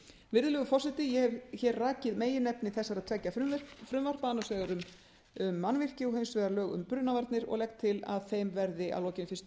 virðulegur forseti ég hef hér rakið meginefni þessara tveggja frumvarpa annars vegar um mannvirki og hins vegar lög um brunavarnir og legg til að þeim verði að lokinni fyrstu